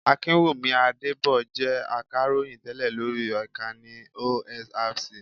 Akinwumi Adébọ̀ jẹ́ Akàròyìn tẹ́lẹ̀ lóri Ìkànnì OSRC.